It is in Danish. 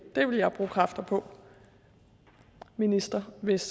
det ville jeg bruge kræfter på minister hvis